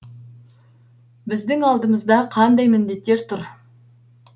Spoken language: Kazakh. біздің алдымызда қандай міндеттер тұр